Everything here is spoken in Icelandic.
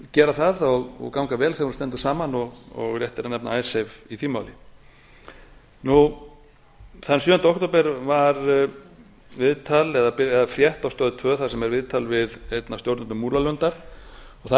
gera það og ganga vel þegar hún stendur saman og rétt er að nefna icesave í því máli þann sjöunda október var viðtal eða frétt á stöð tvö þar sem er viðtal einn af stjórnendum múlalundar þar